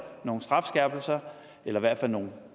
nogle strafskærpelser eller i hvert fald nogle